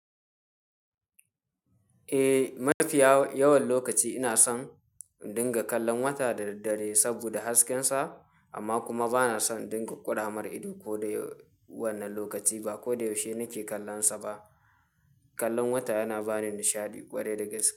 Eh, mafiya yawan lokaci ina son dinga kallon wata da daddare saboda haskensa amma kuma bana son dinga ƙura mar idona ko da wane lokaci ba ko da yaushe nake kallonsa ba. Kallon wata yana bani nishaɗi ƙwarai da gaske.